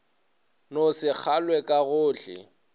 no se kwagale ka gohle